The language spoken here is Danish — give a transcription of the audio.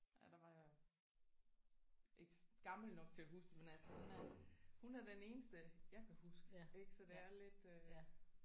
Ja der var jeg ikke gammel nok til at huske det men altså hun er hun er den eneste jeg kan huske ik så det er lidt øh